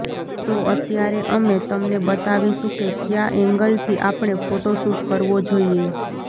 તો અત્યારે અમે તમને બતાવીશું કે ક્યાં એન્ગલથી આપણે ફોટો શૂટ કરવો જોઈએ